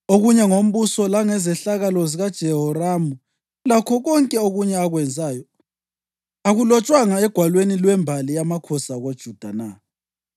Okunye ngombuso langezehlakalo zikaJehoramu, lakho konke okunye akwenzayo, akulotshwanga egwalweni lwembali yamakhosi akoJuda na?